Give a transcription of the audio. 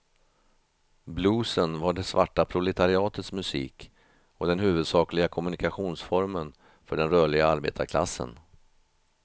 Bluesen var det svarta proletariatets musik och den huvudsakliga kommunikationsformen för den rörliga arbetarklassen.